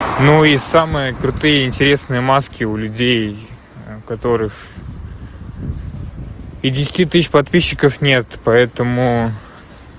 ну и самые крутые интересные маски у людей которых пятидесяти тысяч подписчиков нет поэтому